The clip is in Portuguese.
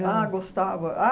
Ah, gostava.